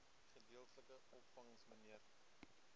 gedeeltelike opvangs mnr